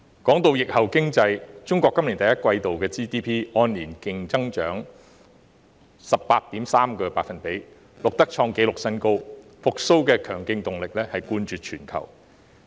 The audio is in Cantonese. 關於疫後經濟，中國今年第一季 GDP 按年強勁增長 18.3%， 創紀錄新高，復蘇的強勁動力冠絕全球。